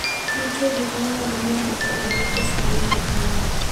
Nitie gik ma nyalo miyo ng'ato oduok pesa ma ne olalo.